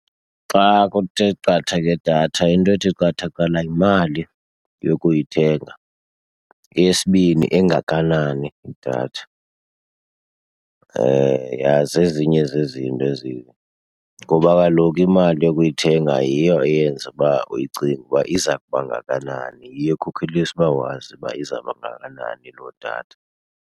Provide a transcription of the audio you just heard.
Xa kuthe qatha ngedatha into ethi qatha kuqala yimali yokuyithenga. Eyesibini, engakanani idatha? Yha zezinye zezinto ezi, ngoba kaloku imali yokuyithenga yiyo eyenza uba uyicinge uba iza kubangakanani, yiyo ekhokhelisa uba wazi uba izabangakanani loo datha.